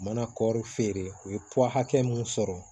U mana kɔɔri feere u ye hakɛ mun sɔrɔ